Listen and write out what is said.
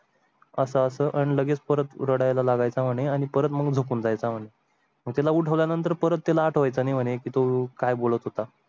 असं असं लगेच परत रडायला लागायचं आणि परत मधून झोपुन जायचा म्हणजे मग त्याला उठवल्या नंतर परत तील आठवायचा आणि तो काय बोलत होता.